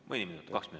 Mõni minut?